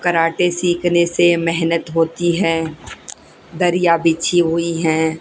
Karate सीखने से मेहनत होती है दरिया बिछी हुई है।